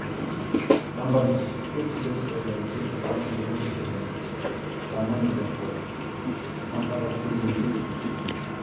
Keyiu Chelsea neisho lampard loolarin artam esiai enaa ormenejai leina tim tolarin okuni